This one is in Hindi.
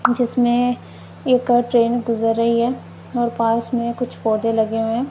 जिसमें एक ट्रेन गुजर रही है और पास में कुछ पौधे लगे हुए--